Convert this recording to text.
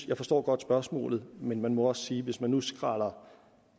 jeg forstår godt spørgsmålet men man må også sige at hvis man nu skræller